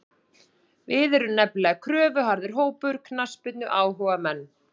Við erum nefnilega kröfuharður hópur, knattspyrnuáhugamenn.